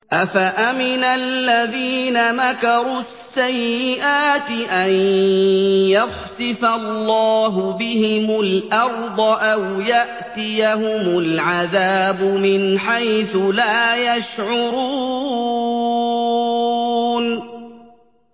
أَفَأَمِنَ الَّذِينَ مَكَرُوا السَّيِّئَاتِ أَن يَخْسِفَ اللَّهُ بِهِمُ الْأَرْضَ أَوْ يَأْتِيَهُمُ الْعَذَابُ مِنْ حَيْثُ لَا يَشْعُرُونَ